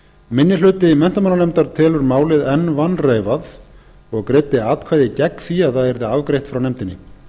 minni hluti menntamálanefndar telur málið enn vanreifað og greiddi atkvæði gegn því að það yrði afgreitt frá nefndinni